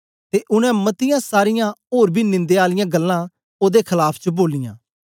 ते उनै मतीयां सारीयां ओर बी निंदया आलियां गल्लां ओदे खलाफ च बोलियां